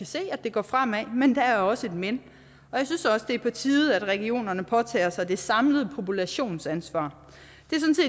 se at det går fremad men der er også et men jeg synes også at det er på tide at regionerne påtager sig det samlede populationsansvar